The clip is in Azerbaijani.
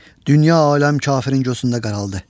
Dünya aləm kafirin gözündə qaraldı.